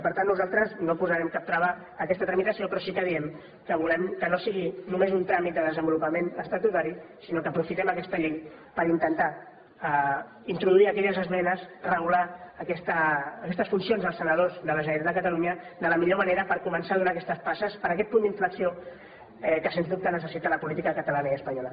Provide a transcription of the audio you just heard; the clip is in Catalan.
per tant nosaltres no posarem cap trava a aquesta tramitació però sí que diem que volem que no sigui només un tràmit de desenvolupament estatutari sinó que aprofitem aquesta llei per intentar introduir aquelles esmenes regular aquestes funcions dels senadors de la generalitat de catalunya de la millor manera per començar a donar aquestes passes per a aquest punt d’inflexió que sens dubte necessita la política catalana i espanyola